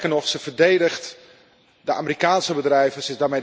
Sterker nog zij verdedigt de Amerikaanse bedrijven.